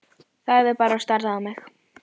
Þagði bara og starði fram fyrir sig.